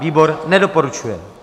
Výbor nedoporučuje.